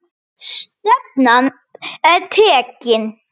Stefnan er tekin.